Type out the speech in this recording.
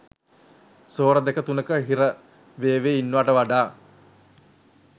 ස්වර දෙක තුනක හිර වේවි ඉන්නවට වඩා